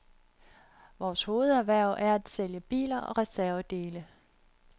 Vores hovederhverv er at sælge biler og reservedele.